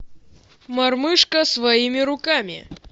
мормышка своими руками